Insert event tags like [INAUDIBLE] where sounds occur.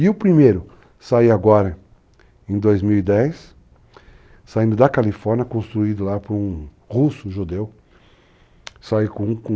E o primeiro, sair agora em 2010, saindo da Califórnia, construído lá por um russo judeu, sair com com, [UNINTELLIGIBLE]